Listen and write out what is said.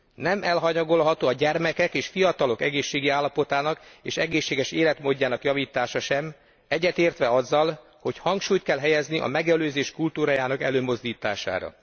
Nem elhanyagolható a gyermekek és fiatalok egészségi állapotának és egészséges életmódjának javítása sem, egyetértve azzal, hogy hangsúlyt kell helyezni a megelőzés kultúrájának előmozdítására.